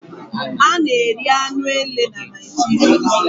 A na-eri anụ ele na Naijiria